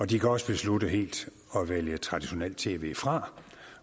de kan også beslutte helt at vælge traditionelt tv fra